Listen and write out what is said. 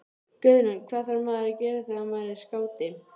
Guðrún: Hvað þarf maður að gera þegar maður er skáti?